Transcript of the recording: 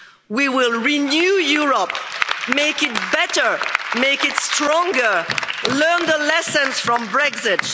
wrong. We will renew Europe, make it better, make it stronger, learn the lessons from